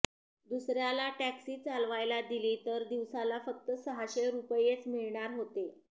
दुसऱ्याला टॅक्सी चालवायला दिली तर दिवसाला फक्त सहाशे रुपयेच मिळणार होते